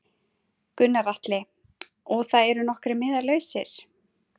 Gunnar Atli: Og það eru nokkrir miðar lausir?